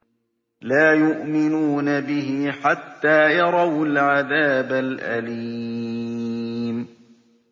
لَا يُؤْمِنُونَ بِهِ حَتَّىٰ يَرَوُا الْعَذَابَ الْأَلِيمَ